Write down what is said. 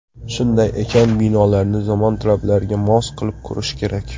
Shunday ekan, binolarni zamon talablariga mos qilib qurish kerak.